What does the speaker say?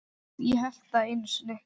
Ég hélt það einu sinni.